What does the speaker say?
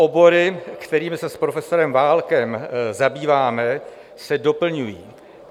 Obory, kterými se s profesorem Válkem zabýváme, se doplňují.